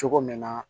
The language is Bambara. Cogo min na